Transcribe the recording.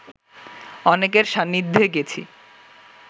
অনেকের সান্নিধ্যে গেছি